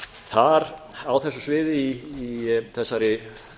þar á þessu sviði í þessari